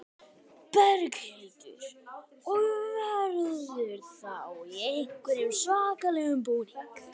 Berghildur: Og verður þá í einhverjum svakalegum búning?